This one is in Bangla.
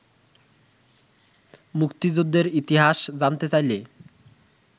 মুক্তিযুদ্ধের ইতিহাস জানতে চাইলে